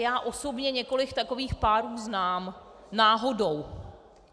Já osobně několik takových párů znám, náhodou.